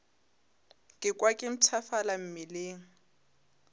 ka kwa ke mpshafala mmeleng